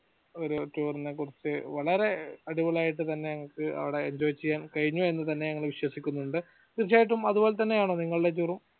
ഒരു ഒരു tour ഇനെ കുറിച്ച് വളരെ അടിപൊളിയായിട്ട് തന്നെ അവടെ enjoy ചെയ്യാൻ കഴിഞ്ഞു എന്ന് തന്നെ ഞങ്ങൾ വിശ്വസിക്കുന്നുണ്ടോ തീർച്ചയായിട്ടും അതുപോലെ തന്നെ ആണോ നിങ്ങളുടെ tour ഉം